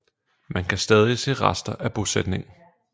Man kan stadig se rester af bosætningen